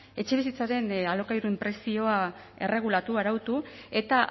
etxebizitzaren alokairuen prezioa erregulatu arautu eta